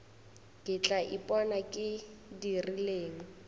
ke tla ipona ke dirileng